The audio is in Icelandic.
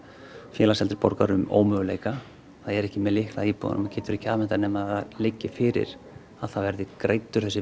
Félags eldri borgara um ómöguleika það er ekki með lykla að íbúðunum og getur ekki afhent þær nema það liggi fyrir að það verði greiddur þessi